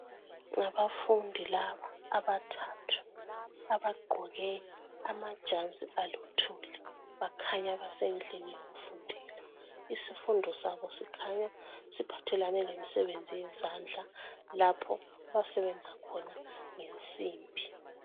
Ngabafundi laba abathathu abagqoke amajazi aluthuli. Bakhanya basendlini yokufundela. Isifundo sabo sikhanya siphathelane lemsebenzi yezandla lapha abasebenza khona ngensimbi.